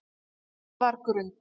Njarðargrund